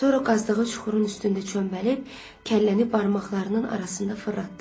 Sonra qazdığı çuxurun üstündə çöməlib kəlləni barmaqlarının arasında fırlatdı.